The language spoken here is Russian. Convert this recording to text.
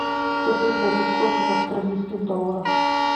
сто песо это сколько в австралийских долларах